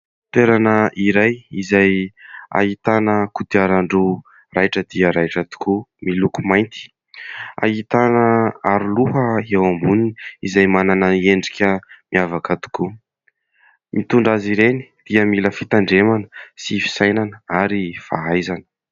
Toerana iray izay ahitàna kodiaran-droa raitra dia raitra tokoa, miloko mainty. Ahitàna aro loha eo amboniny izay manana endrika miavaka tokoa. Mitondra azy ireny dia mila fitandremana sy fisainana ary fahaizana.